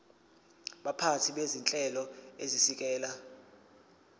baphathi bezinhlelo ezisekela